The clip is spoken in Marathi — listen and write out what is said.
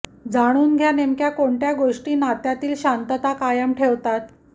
जाणून घ्या नेमक्या कोणत्या गोष्टी नात्यातील शांतता कायम ठेवतात